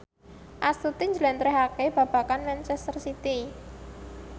Astuti njlentrehake babagan manchester city